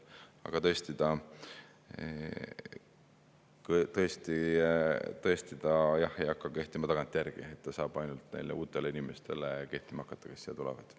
Aga tõesti, see ei hakka kehtima tagantjärgi, see saab kehtima hakata ainult neile uutele inimestele, kes siia tulevad.